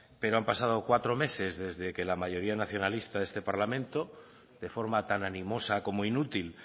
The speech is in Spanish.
pero han pasado cuatro meses desde que la mayoría nacionalista de este parlamento de forma tan animosa como inútil